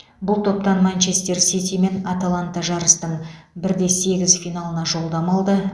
бұл топтан манчестер сити мен аталанта жарыстың бір де сегіз финалына жолдама алды